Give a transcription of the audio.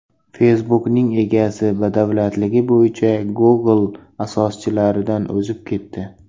Facebook’ning egasi badavlatligi bo‘yicha Google asoschilaridan o‘zib ketdi.